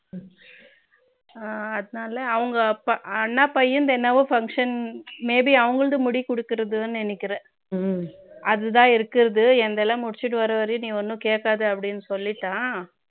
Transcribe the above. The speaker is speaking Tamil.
அவங்க அண்ணா பையனுக்கு என்னவோ function maybe அவர்களது முடி கொடுக்கிறதுன்னு நினைக்கிறேன் அதுதான் இருக்கிறது என்னது எல்லாம் முடிச்சிட்டு வரும் வரைக்கும் என்கிட்ட எதுவும் கேட்காதன்னு சொல்லிட்டான்